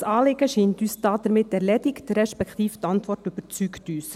Das Anliegen scheint uns damit erledigt, respektive die Antwort überzeugt uns.